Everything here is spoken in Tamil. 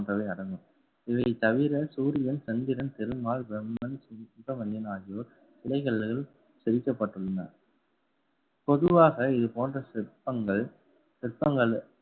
போன்றவை அடங்கும். இதைத்தவிர சூரியன் சந்திரன், பெருமாள், பிரம்மன், சுப சுப வன்னியன் ஆகியோர் செதுக்கப்பட்டுள்ளன பொதுவாக இது போன்ற சிற்பங்கள் சிற்பங்கள்